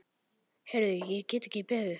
Heyrðu, ég get ekki beðið.